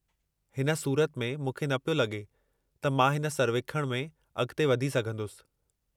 हिन सूरत में मूंखे न पियो लगे॒ त मां हिन सर्वेखणु में अगि॒ते वधी सघंदुसि।